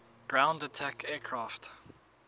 ground attack aircraft